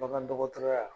Bagan dɔgɔtɔrɔya